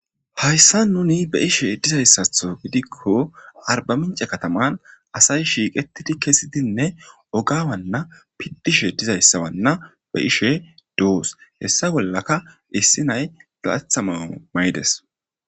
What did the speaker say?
hayssa nuni be ishe dizayssatho gidikko arbaminca kataman asay shiiqetidi kesidinne ogawanna piddishe dizayssawanna be ishe doos hessa bollaka issi nay dalathama maydes